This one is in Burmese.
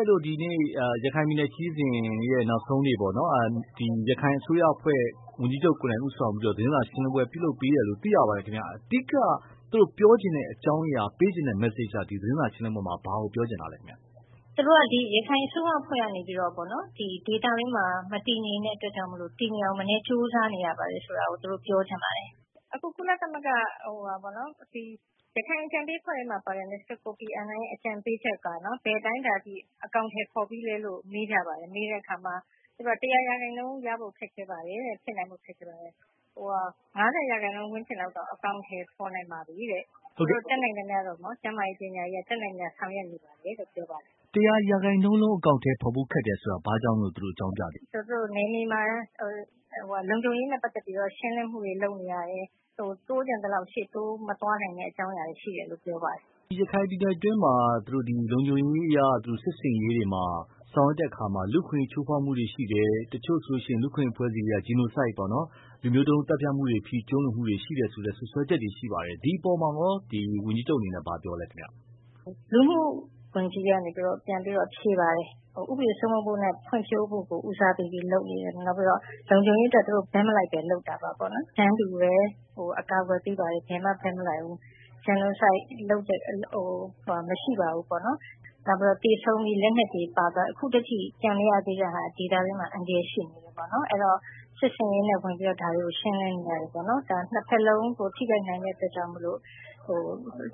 က်တို့ဒီနေ့ ရခိုင်ပြည်နယ်ခရီးစဉ်ရဲ့ နောက်ဆုံးနေ့ပေါ့နော်။ ဒီရခိုင်အစိုးရအဖွဲ့ ဝန်ကြီးချုပ်ကိုယ်တိုင်ဦးဆောင်ပြီးတော့ သတင်းစာရှင်းလင်းပွဲပြုလုပ်ပေးတယ်လို့ သိရပါတယ်ခင်ဗျ။ အဓိက သူတို့ပြောချင်တဲ့အကြောင်းအရာ ပေးချင်တဲ့ Message က သတင်းစာရှင်းလင်းပွဲမှာ ဘာကိုပြောချင်တာလဲခင်ဗျ။ သူတို့က ဒီရခိုင်အစိုးရအဖွဲ့ကနေပြီးတော့ပေါ့နော် ဒေသတွင်းမှာ မတည်ငြိမ်တဲ့အတွက်ကြောင့် တည်ငြိမ်အောင်မနည်းကြိုးစားနေရပါတယ်ဆိုတာကို ပြောချင်ပါတယ်။ အခု ကုလသမဂ္ဂ ရခိုင်အကြံပေးအဖွဲ့ထဲမှာပါတဲ့ ကိုဖီအာနန်ရဲ့အကြံပေးချက်က ဘယ်အတိုင်းအတာအထိ အကောင်အထည်ဖော်ပြီးသလဲဆိုတာ မေးကြပါတယ်။ မေးတဲ့အခါမှာ ၁၀၀ ရာခိုင်နှုန်း ရဖို့ခက်ခဲပါတယ်တဲ့၊ ဖြစ်နိုင်ဖို့ ခက်ခဲပါတယ်။ ၅၀ ရာခိုင်နှုန်းဝန်းကျင်လောက်ကတော့ အကောင်အထည်ဖော်နိုင်ပါပြီတဲ့။ ကျန်းမာရေး၊ ပညာရေးတွေကို တတ်နိုင်သမျှဆောင်ရွက်နေပါတယ်လို့ ပြောပါတယ်။ ၁၀၀ ရာခိုင်နှုန်းအကောင်အထည်ဖော်ဖို့ခက်တယ်ဆိုတာကို ဘာကြောင့် သူတို့အကြောင်းပြသေးသလဲ။ နယ်မြေမှာ လုံခြုံရေးနဲ့ ပတ်သက်ပြီးတော့ ရှင်းလင်းမှုတွေလုပ်နေရတယ်။ တိုးချင်သလောက် ရှေ့တိုးမသွားတဲ့အကြောင်းအရာတွေရှိတယ်လို့ပြောပါတယ်။ ရခိုင်ပြည်နယ်အတွင်း လုံခြုံရေးအရ စစ်ဆင်ရေးတွေဆောင်ရွက်တဲ့အခါမှာ လူ့အခွင့်အရေး ချိုးဖောက်မှုတွေရှိတယ်။ တချို့ လူ့အခွင့်အရေးအဖွဲ့တွေက Genocide လူမျိုးတုံးသတ်ဖြတ်မှုတွေရှိတယ်ဆိုတဲ့အထိ စွပ်စွဲမှုတွေရှိပါတယ်။ ဒီအပေါ်မှာရော ဝန်ကြီးချုပ်အနေနဲ့ ဘာပြောသလဲခင်ဗျ။ လှုမူဝန်ကြီးကနေပြီးတော့ ပြန်ဖြေပါတယ် ၊ ဥပဒေစိုးမိုးမှုနဲ့ ဖွံ့ဖြိုးမှုကို ဦးစားပေးပြီးလုပ်နေတယ်ပေါ့နော်။ နောက်ပြီးတော့ လုံခြုံရေးအတွက် ဘက်မလိုက်ပဲ လုပ်တာပေါ့နော်။ တန်းတူအကာအကွယ်ပေးတယ်၊ ဘယ်မှ ဘက်မလိုက်ဘူး။ Genocide လုပ်တာမရှိပါဘူး။ လက်နက်တွေပါသွားတာ ဒေသအတွင်း ကျန်နေသေးတဲ့အတွက် အန္တရာယ်ရှိနေသေးတယ်ပေါ့နော် အဲဒီတော့ စစ်ဆင်ရေးနဲ့ ဝင်ပြီးဒါတွေကို ရှင်းလင်းနေရတယ်။ ဒါ ၂ ဖက်လုံး ထိခိုက်နိုင်တဲ့အတွက်ကြောင့်